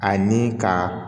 Ani ka